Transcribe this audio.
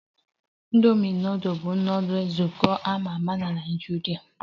Indomi nudul bụ nudul ozugbo a ma ama na Naịjirịa